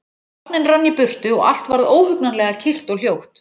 Vagninn rann í burtu og allt varð óhugnanlega kyrrt og hljótt.